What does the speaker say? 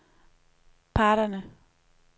parterne